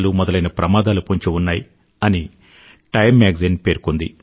మొదలైన ప్రమాదాలు పొంచి ఉన్నాయి అని టైమ్ మ్యాగజైన్ పేర్కొంది